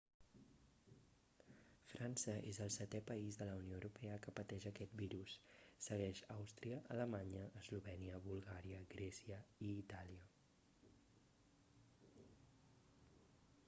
frança és el setè país de la unió europea que pateix aquest virus segueix àustria alemanya eslovènia bulgària grècia i itàlia